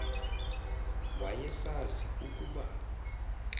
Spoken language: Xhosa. waye sazi ukuba